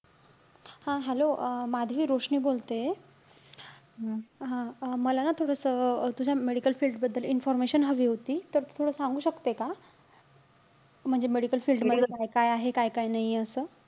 हा hello अं माधवी, रोशनी बोलतेय. हा अं मला ना थोडंसं अं तुझ्या medical field बद्दल information हवी होती. तर, तू थोडं सांगू शकते का? म्हणजे medical field मध्ये काय आहे, काय-काय नाहीये असं?